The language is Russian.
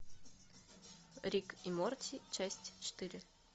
рик и морти часть четыре